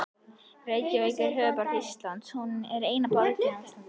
Reykjavík er höfuðborg Íslands. Hún er eina borg landsins.